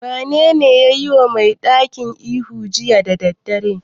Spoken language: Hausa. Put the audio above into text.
Wanene ya yiwa mai gadin ihu jiya da daddare?